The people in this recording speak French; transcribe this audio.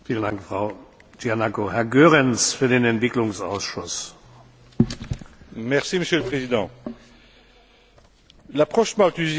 Monsieur le Président, l'approche malthusienne, selon laquelle on ne peut vivre dans la prospérité que si d'autres vivent dans la misère, a fait son temps.